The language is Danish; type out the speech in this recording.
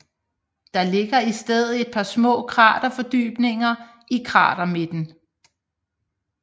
Der ligger i stedet et par små kraterfordybninger i kratermidten